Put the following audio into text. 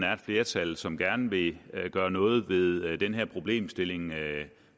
er et flertal som gerne vil gøre noget ved den her problemstilling